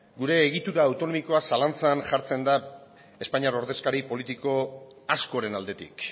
gure egitura autonomikoa zalantzan jartzen da espainiar ordezkari politiko askoren aldetik